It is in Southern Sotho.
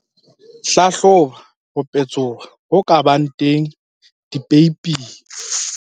Hlahloba ho petsoha ho ka bang teng dipeiping.